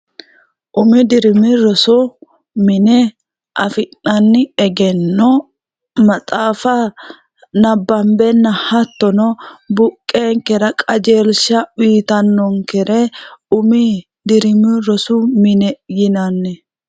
umi dirimi rosu mine afi'nanni egenno maxaafa nabbambenna hattono buqqeenkera qajeelsha wiitannonkere umi dirimi rosu mine yinanni